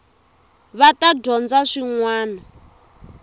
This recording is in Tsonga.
va ta dyondza swin wana